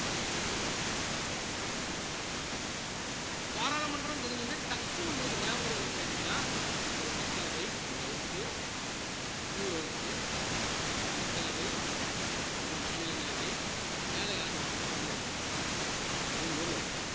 இப்ப பாராளுமன்றம்ன்னு தெரிஞ்ச உடனே டக்குனு உங்களுக்கு ஞாபகம் வர்றது என்னன்னு கேட்டீங்கன்னா ஒரு மக்களவை ஒரு house உ இன்னொரு house உ இது மக்களவை இது மாநிலங்களவை மேல யாரு இருப்பானா குடியரசு தலைவர் மூணு பேரும் வரணும்